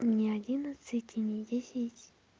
мне одиннадцать и ни десять